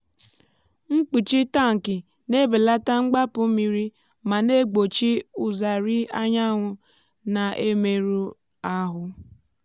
mkpuchi tankị na-ebelata mgbapụ mmiri ma na-egbochi ụzarị anyanwụ na-emerụ ahụ (uv).